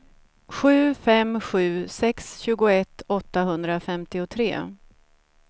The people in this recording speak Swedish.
sju fem sju sex tjugoett åttahundrafemtiotre